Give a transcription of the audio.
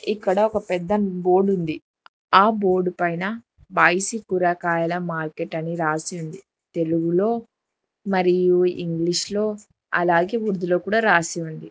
ఇక్కడ ఒక పెద్ద బోర్డ్ ఉంది ఆ బోర్డ్ పైన బాయిసి కూరగాయల మార్కెట్ అని రాసి ఉంది తెలుగులో మరియు ఇంగ్లీష్ లో అలాగే ఉర్దూలో కూడ రాసి ఉంది.